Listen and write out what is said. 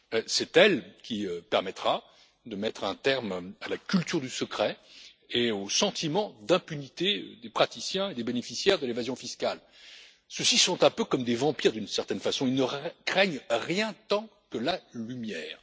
C'est elle qui permettra de mettre un terme à la culture du secret et au sentiment d'impunité des praticiens et des bénéficiaires de l'évasion fiscale. Ceux ci sont un peu comme des vampires, d'une certaine façon ils ne craignent rien tant que la lumière.